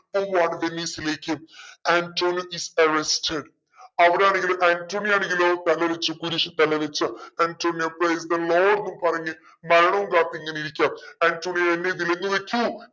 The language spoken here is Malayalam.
പോവാണ് വെനീസിലേക്ക് ആൻറ്റോണിയോ is arrested അവിടാണെങ്കിൽ ആൻറ്റോണിയോ ആണെങ്കിലോ തലവെച്ചു കുരിശിൽ തലവെച്ചു ആന്റോണിയോ praise the lord ന്നും പറഞ്ഞു മരണോം കാത്ത് ഇങ്ങന ഇരിക്കയാന്ന് ആന്റോണിയോ എന്നെ വിലങ്ങ് വെക്കൂ